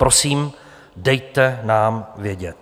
Prosím, dejte nám vědět.